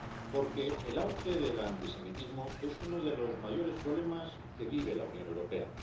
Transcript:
Porque el auge del antisemitismo es uno de los mayores problemas que vive la Unión Europea.